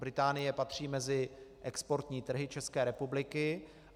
Británie patří mezi exportní trhy České republiky.